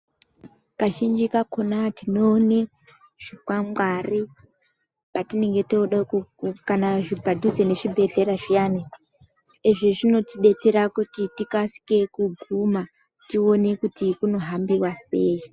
Kazhinji kakona tinoone zvikwangwari patinenge tode ku kana padhuze nezvhibhedhleya zviyani izvi zvinotibetsera kuti tikasike kuguma tione kuti kunohambiwa sei.